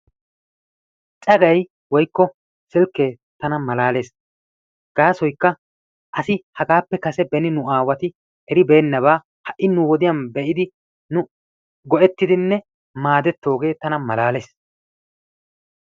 Cagaay woykko silkke tana malaalees. G!aasoykka asi hagappe kase nu aawati ereibeenanba ha'i nu wodiyaan ehidi nu go''ettidinne maaddetoogee tana malaalees.